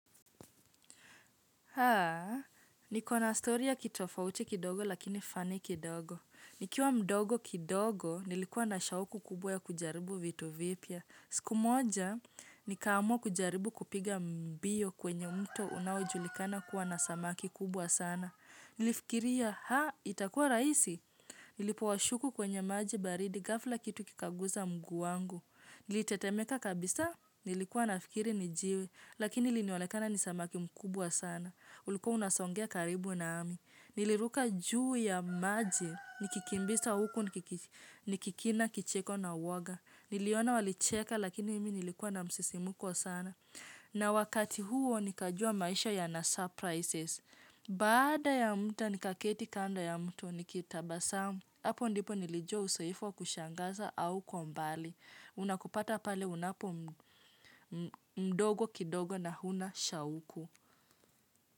Haa, niko na stori ya kitofauti kidogo lakini fani kidogo. Nikiwa mdogo kidogo, nilikuwa na shauku kubwa ya kujaribu vito vipya. Siku moja, nikaamu kujaribu kupiga mbio kwenye mto unaojulikana kuwa na samaki kubwa sana. Nilifikiria ha, itakua rahisi? Nilipo washuku kwenye maji baridi ghafla kitu kikaguza mguu wangu. Nilitetemeka kabisa, nilikuwa nafikiri ni jiwe, lakini ilionekana ni samaki mkubwa sana. Ulikuwa unasongea karibu nami. Niliruka juu ya maji. Nikikimbisa huku nikikila kicheko na uwoga. Niliona walicheka lakini mimi nilikuwa na msisimuko sana. Na wakati huo nikajua maisha yana surprises. Baada ya muda nikaketi kando ya mto nikitabasamu. Apo ndipo nilijua uzoefuwa kushangaza haukuwa mbali. Unakupata pale unapo mdogo kidogo na huna shauku.